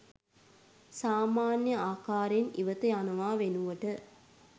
සාමාන්‍ය ආකාරයෙන් ඉවත යනවා වෙනුවට